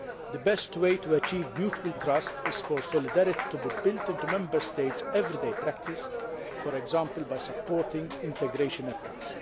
The best way to achieve mutual trust is for solidarity to be built into Member States' everyday practice, for example by supporting integration efforts.